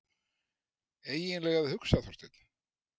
EIGINLEGA AÐ HUGSA, ÞORSTEINN!